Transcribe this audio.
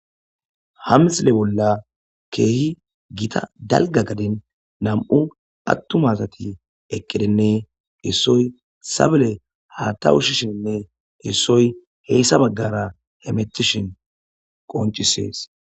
Ha misile bolla keehi gita dalga gadin nam7u attumasati eqqidinne issoy sabele ha ta wushishinne issoy heyssa baggara he metishin qoncisees.